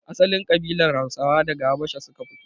Asalin kabilar Hausa daga habasha suka fito